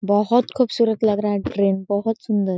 बोहत खुबसुरत लग रहा है ट्रेन बोहत सुंदर।